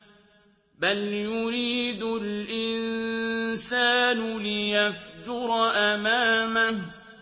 بَلْ يُرِيدُ الْإِنسَانُ لِيَفْجُرَ أَمَامَهُ